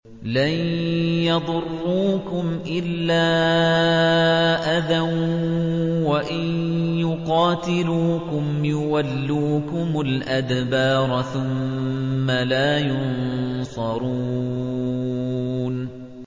لَن يَضُرُّوكُمْ إِلَّا أَذًى ۖ وَإِن يُقَاتِلُوكُمْ يُوَلُّوكُمُ الْأَدْبَارَ ثُمَّ لَا يُنصَرُونَ